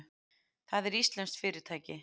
Það er íslenskt fyrirtæki.